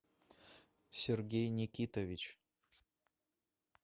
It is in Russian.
сергей никитович